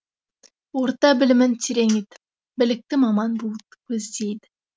орта білімін терең етіп білікті маман болуды көздейді